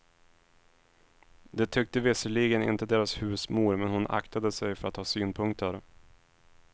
Det tyckte visserligen inte deras husmor men hon aktade sig för att ha synpunkter.